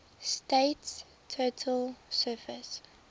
state's total surface